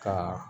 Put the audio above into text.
Ka